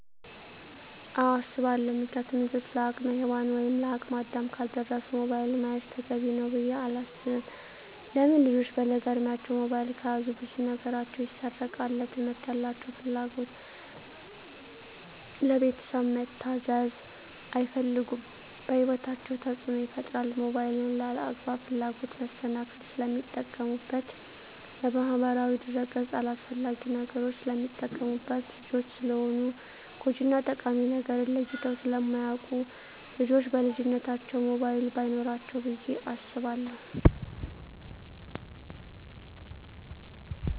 አወ አሰባለው ምክንያቱም ልጆች ለአቅመ ሄዋን ወይም ለአቅመ አዳም ካልደረሱ ሞባይል መያዝ ተገቢ ነው ብዬ አላስብም። ለምን ልጆች በለጋ እድማቸው ሞባይል ከያዙ ብዙ ነገራቸው ይሰረቃል ለትምህርት ያላቸው ፍላጎት, ለቤተሰብ መታዘዝ አይፈልጉም በህይወታቸው ተፅዕኖ ይፈጥራል ሞባይልን ለአላግባብ ፍላጎት መሰናክል ስለሚጠቀሙበት በማህበራዊ ድረ-ገፅ አላስፈላጊ ነገሮች ስለሚጠቀሙበት። ልጆች ስለሆኑ ጎጅ እና ጠቃሚ ነገርን ለይተው ስለማያወቁ ልጆች በልጅነታቸው ሞባይል በይኖራቸው ብዬ አስባለሁ።